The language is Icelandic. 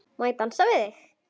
Má ég dansa við þig?